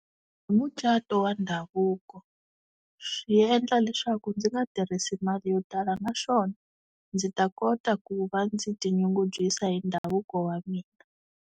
Mucato wa ndhavuko swi endla leswaku ndzi nga tirhisi mali yo tala naswona ndzi ta kota ku va ndzi ti nyungubyisa hi ndhavuko wa mina.